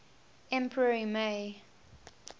emperor y mei